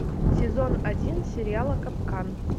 сезон один сериала капкан